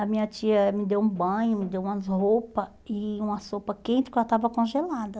A minha tia me deu um banho, me deu umas roupas e uma sopa quente, porque ela estava congelada.